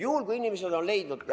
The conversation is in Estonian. Juhul kui inimesed on leidnud ...